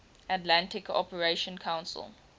atlantic cooperation council